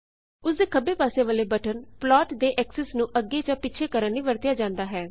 ਉਸਦੇ ਖੱਬੇ ਪਾਸੇ ਵਾਲੇ ਬਟਨ ਪਲਾਟ ਦੇ ਐਕਸੀਸ ਨੂੰ ਅੱਗੇ ਜਾਂ ਪਿੱਛੇ ਕਰਨ ਲਈ ਵਰਤਿਆ ਜਾਂਦਾ ਹੈ